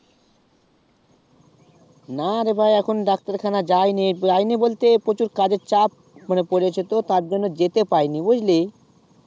না রে ভাই এখনো ডাক্তার খানা যায়নি যায়নি বলতে প্রচুর কাজ এর চাপ মানে পড়েছে তো তার জন্যে যেতে পাইনি বুঝলি